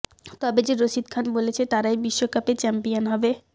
তবে যে রশিদ খান বলেছে তারাই বিশ্বকাপে চ্যাম্পয়ন হবে